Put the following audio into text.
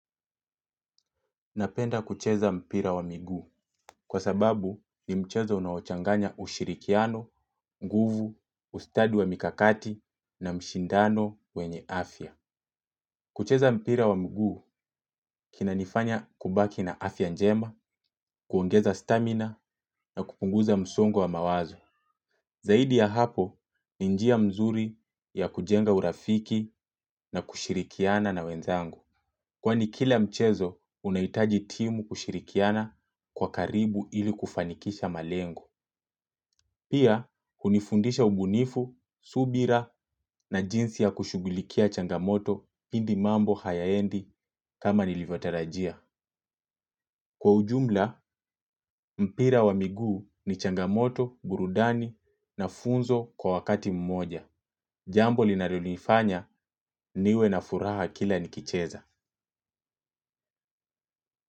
Napenda kucheza mpira wa miguu kwa sababu ni mchezo unaochanganya ushirikiano, nguvu, ustadi wa mikakati na mshindano wenye afya. Kucheza mpira wa migu kinanifanya kubaki na afya njema, kuongeza stamina na kupunguza msongo wa mawazo. Zaidi ya hapo ni njia mzuri ya kujenga urafiki na kushirikiana na wenzangu. Kwani kila mchezo, unaitaji timu kushirikiana kwa karibu ili kufanikisha malengo. Pia, hunifundisha ubunifu, subira na jinsi ya kushugulikia changamoto pindi mambo hayaendi kama nilivyotarajia. Kwa ujumla, mpira wa miguu ni changamoto, burudani na funzo kwa wakati mmoja. Jambo linalilifanya niwe na furaha kila nikicheza.